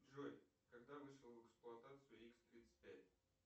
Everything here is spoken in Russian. джой когда вышел в эксплуатацию икс тридцать пять